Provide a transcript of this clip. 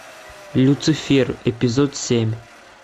люцифер эпизод семь